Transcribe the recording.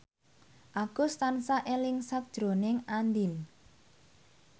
Agus tansah eling sakjroning Andien